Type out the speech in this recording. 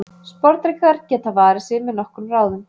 Sporðdrekar geta varið sig með nokkrum ráðum.